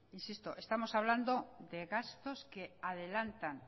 insisto estamos hablando de gastos que adelantan